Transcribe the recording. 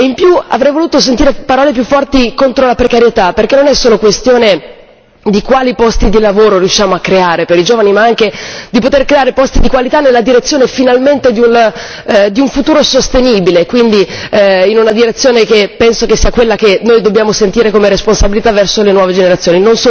Inoltre avrei voluto sentire parole più forti contro la precarietà, perché non è solo questione di quali posti di lavoro riusciamo a creare per i giovani, ma anche di poter creare posti di qualità nella direzione finalmente di un futuro sostenibile, quindi in una direzione che penso sia quella che noi dobbiamo sentire come responsabilità verso le nuove generazioni.